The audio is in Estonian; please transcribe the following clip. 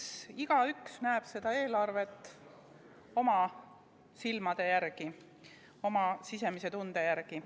Eks igaüks näeb seda eelarvet oma silmadega, oma sisemise tunde järgi.